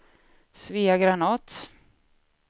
Svea Granath